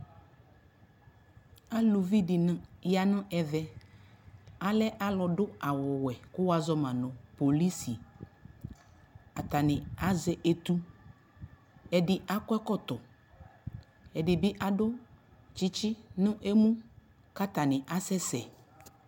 alʋvi dini yanʋ ɛvɛ, alɛ alʋdʋ awʋ wɛkʋ wazɔnʋ polisi, atani azɛ ɛtʋ, ɛdi akɔ ɛkɔtɔ, ɛdi bi adʋ kyikyi nʋ ɛmʋkʋ atani asɛsɛ